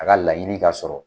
A ka laɲini ka sɔrɔ